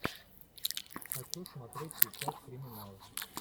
хочу смотреть сейчас криминал